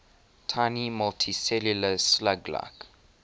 tiny multicellular slug like